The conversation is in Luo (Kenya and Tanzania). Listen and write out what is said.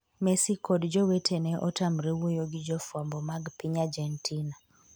Messi kod jo wetene otamre wuoyo gi jofwambo mag piny Argentina